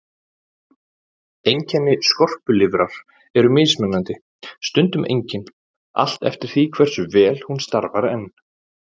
Einkenni skorpulifrar eru mismunandi, stundum engin, allt eftir því hversu vel hún starfar enn.